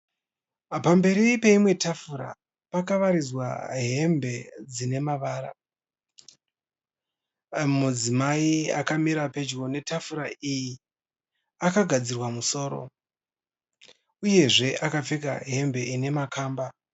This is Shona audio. Pamberi peimwe tafura pakawaridzwa hembe dzine mavara. Mudzimai akamira pedyo netafura iyi akagadzirwa musoro, uyezve akapfeka hembe ine makamba.